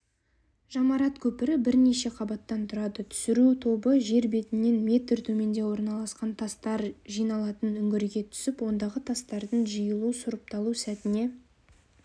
жамарат көпірі бірнеше қабаттан тұрады түсіру тобы жер бетінен метр төменде орналасқан тастар жиылатын үңгірге түсіп ондағы тастардың жиылу сұрыпталу сәтіне